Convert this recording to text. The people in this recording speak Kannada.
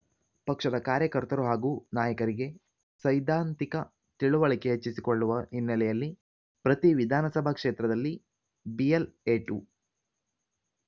ಪಕ್ಷದ ಕಾರ್ಯಕರ್ತರು ಹಾಗೂ ನಾಯಕರಿಗೆ ಸೈದ್ಧಾಂತಿಕ ತಿಳುವಳಿಕೆ ಹೆಚ್ಚಿಸಿಕೊಳ್ಳುವ ಹಿನ್ನೆಲೆಯಲ್ಲಿ ಪ್ರತಿ ವಿಧಾನಸಭಾ ಕ್ಷೇತ್ರದಲ್ಲಿ ಬಿಎಲ್‌ಎ ಟು